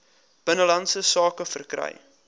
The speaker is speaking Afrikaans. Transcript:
binnelandse sake verkry